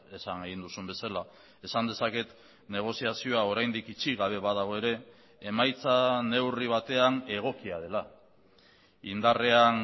esan egin duzun bezala esan dezaket negoziazioa oraindik itxi gabe badago ere emaitza neurri batean egokia dela indarrean